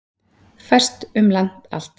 Fæst um land allt